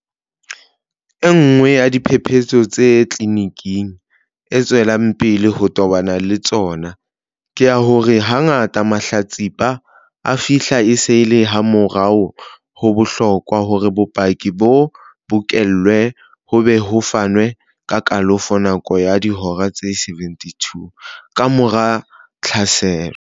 Enngwe ya diphephetso tseo tleliniki e tswelang pele ho tobana le tsona, ke ya hore hangata mahlatsipa a fihla e se e le hamamorao ho bohlokwa hore bopaki bo bokellwe ho be ho fanwe ka kalafo nakong ya dihora tse 72 kamora tlhaselo.